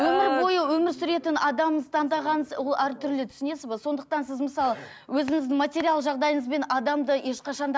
өмір бойы өмір сүретін адамыңыз таңдаған ол әртүрлі түсінесіз бе сондықтан сіз мысалы өзіңіздің материалдық жағдайыңызбен адамды ешқашан да